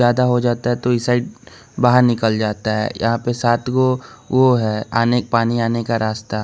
ज्यादा हो जाता है तो इस साइड बाहर निकल जाता है यहां पे सात को वो वो है आने पानी आने का रास्ता।